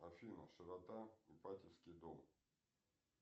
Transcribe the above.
афина широта ипатьевский дом